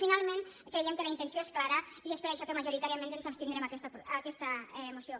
finalment creiem que la intenció és clara i és per això que majoritàriament ens abstindrem en aquesta moció